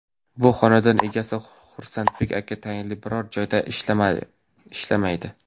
Bu xonadon egasi Xursandbek aka tayinli biror joyda ishlamaydi.